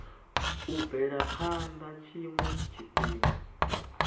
u bvela phana tshiwe tshifhinga